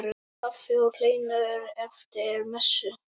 Kaffi og kleinur eftir messu.